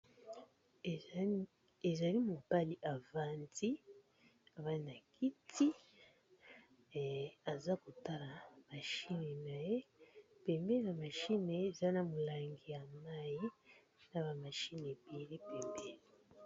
Mibali musatu bavandi na ba kiti bazotala ba machines na bango na milangi ya mayi pembeni. eza na moko alati maske na solo.